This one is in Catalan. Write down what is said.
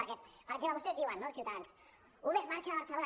perquè per exemple vostès diuen no ciutadans uber marxa de barcelona